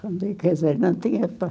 Quer dizer, não tinha pai.